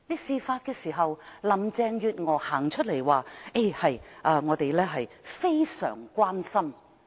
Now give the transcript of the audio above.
事發時，林鄭月娥走出來表示他們"非常關心"。